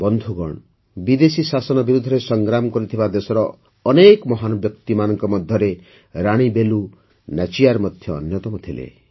ବନ୍ଧୁଗଣ ବିଦେଶୀ ଶାସନ ବିରୁଦ୍ଧରେ ସଂଗ୍ରାମ କରିଥିବା ଦେଶର ଅନେକ ମହାନ ବ୍ୟକ୍ତିିମାନଙ୍କ ମଧ୍ୟରେ ରାଣୀ ବେଲୁ ନାଚିୟାର ମଧ୍ୟ ଅନ୍ୟତମ ଥିଲେ